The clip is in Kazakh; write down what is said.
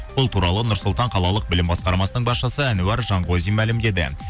бұл туралы нұрсұлтан қалалық білім басқармасының басшысы әнуар жанқозин мәлімдеді